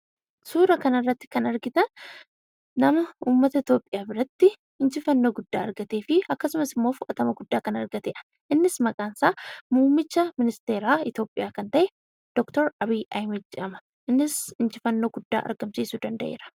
Suura kanarratti kan argitan, nama uummata Itiyoophiyaa biratti injifannoo guddaa argatee fi akkasumas immoo fudhatama guddaa kan argatedha. Innis maqaan isaa Muummicha Ministeeraa Itiyoophiyaa kan ta'e, Dr. Abiy Ahmed jedhama. Innis injifannoo guddaa argamsiisuu danda'eera.